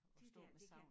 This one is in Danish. Det dér det kan